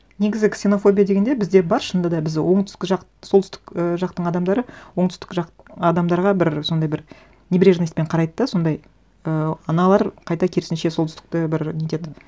негізі ксенофобия дегенде бізде бар шынында да біз оңтүстік жақ солтүстік і жақтың адамдары оңтүстік жақ адамдарға бір сондай бір небрежностьпен қарайды да сондай ыыы аналар қайта керісінше солтүстікті бер нетеді